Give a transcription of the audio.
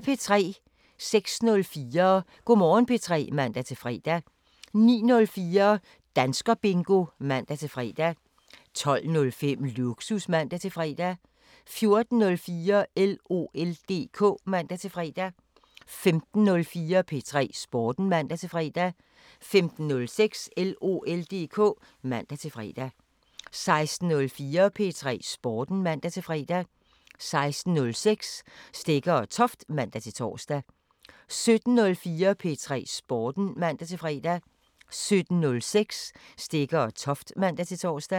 06:04: Go' Morgen P3 (man-fre) 09:04: Danskerbingo (man-fre) 12:05: Lågsus (man-fre) 14:04: LOL DK (man-fre) 15:04: P3 Sporten (man-fre) 15:06: LOL DK (man-fre) 16:04: P3 Sporten (man-fre) 16:06: Stegger & Toft (man-tor) 17:04: P3 Sporten (man-fre) 17:06: Stegger & Toft (man-tor)